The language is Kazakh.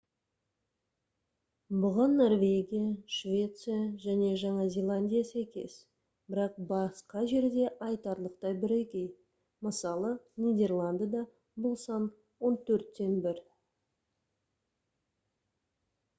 бұған норвегия швеция және жаңа зеландия сәйкес бірақ басқа жерде айтарлықтай бірегей мысалы нидерландыда бұл сан он төрттен бір